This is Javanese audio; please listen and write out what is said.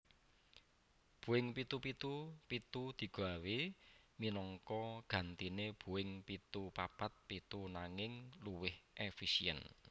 Boeing pitu pitu pitu digawé minangka gantiné Boeing pitu papat pitu nanging luwih éfisièn